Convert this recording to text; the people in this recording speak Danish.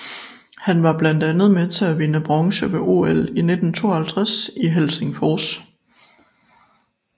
Han var blandt andet med til at vinde bronze ved OL i 1952 i Helsingfors